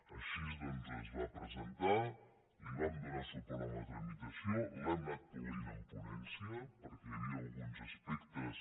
així doncs es va presentar li vam donar suport en la tramitació l’hem anada polint en ponència perquè hi havia alguns aspectes